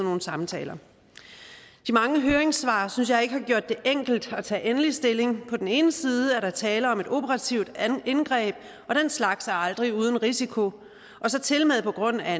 nogle samtaler de mange høringssvar synes jeg ikke har gjort det enkelt at tage endelig stilling på den ene side er der tale om et operativt indgreb og den slags er aldrig uden risiko og så tilmed på grundlag af